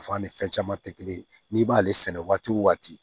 ni fɛn caman tɛ kelen ye n'i b'ale sɛnɛ waati o waati